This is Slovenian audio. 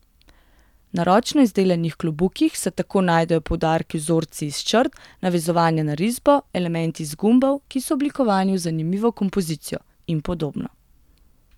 Na ročno izdelanih klobukih se tako najdejo poudarki z vzorci iz črt, navezovanja na risbo, elementi iz gumbov, ki so oblikovani v zanimivo kompozicijo, in podobno.